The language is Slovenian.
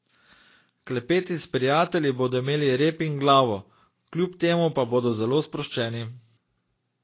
Klepeti s prijatelji bodo imeli rep in glavo, kljub temu pa bodo zelo sproščeni.